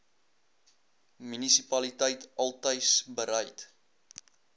munisipaliteit altys bereid